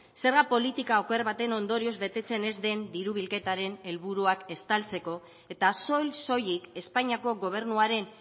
zerga politika oker baten ondorioz betetzen ez den diru bilketaren helburuak estaltzeko eta soil soilik espainiako gobernuaren